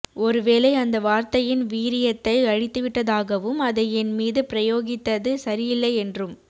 ஒருவேளை அந்த வார்த்தையின் வீரியத்தை அழித்துவிட்டதாகவும் அதை என் மீது பிரயோகித்தது சரியில்லை என்றும்